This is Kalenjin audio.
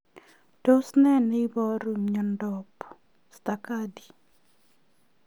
Tos nee neiparu miondop Stargardt